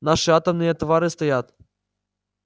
наши атомные товары стоят